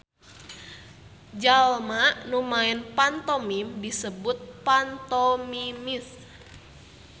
Jalma nu maen pantomim disebut pantomimist.